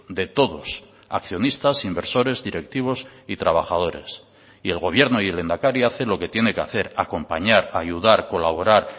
de todos accionistas inversores directivos y trabajadores y el gobierno y el lehendakari hace lo que tiene que hacer acompañar ayudar colaborar